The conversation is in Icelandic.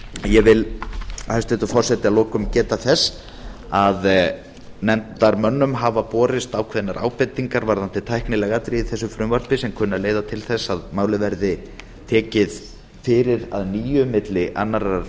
ég vil hæstvirtur forseti að lokum geta þess að nefndarmönnum hafa borist ákveðnar ábendingar varðandi tæknileg atriði í þessu frumvarpi sem kunna að leiða til þess að málið veri tekið fyrir að nýju milli annars